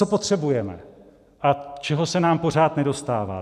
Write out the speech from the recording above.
Co potřebujeme a čeho se nám pořád nedostává.